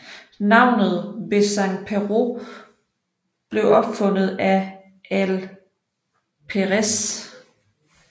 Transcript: Navnet Bezzen Perrot blev opfundet af Ael Péresse